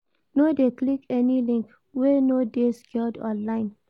No de click any link wey no de secured online